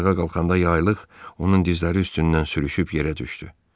Ayağa qalxanda yaylıq onun dizləri üstündən sürüşüb yerə düşdü.